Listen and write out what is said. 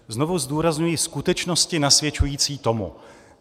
Znovu zdůrazňuji: skutečnosti nasvědčující tomu.